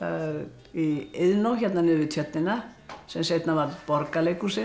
í Iðnó hérna niður við tjörnina sem seinna varð Borgarleikhúsið